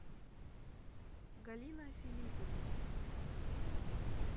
галина филиппенко